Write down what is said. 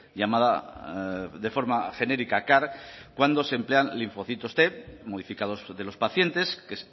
llamada de forma genérica car cuando se emplean linfocitos t modificados de los pacientes que